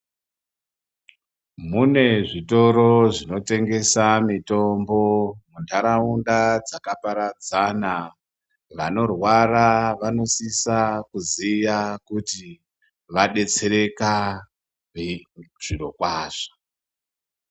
Mune zvitoro zvinotengesa mitombo muntharaunda dzakaparadzana. Vanorwara vanosisa kuziya kuti vadetsereka vei....... zviro kwazvo